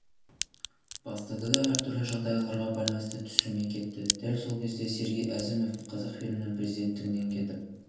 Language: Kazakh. бастады да әртүрлі жағдайларға байланысты түсірмей кетті дәл сол кезде сергей әзімов қазақфильмнің президенттігінен кетіп